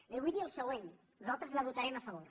li vull dir el següent nosaltres hi votarem a favor